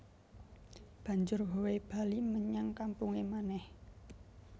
Banjur Howe bali menyang kampunge manèh